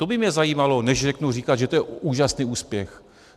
To by mě zajímalo, než začnu říkat, že to je úžasný úspěch.